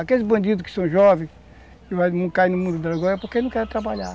Aqueles bandidos que são jovens e não caem no mundo da droga é porque não querem trabalhar.